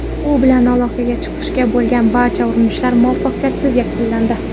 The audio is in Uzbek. U bilan aloqaga chiqishga bo‘lgan barcha urinishlar muvaffaqiyatsiz yakunlandi.